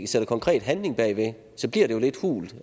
sætter konkret handling bag ved det så bliver det jo lidt hult